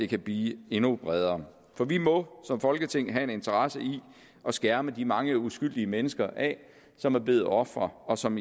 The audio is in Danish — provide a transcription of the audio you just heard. kan blive endnu bredere for vi må som folketing have en interesse i at skærme de mange uskyldige mennesker af som er blevet ofre og som